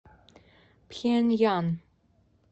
пхеньян